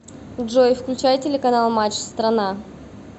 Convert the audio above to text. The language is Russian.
джой включай телеканал матч страна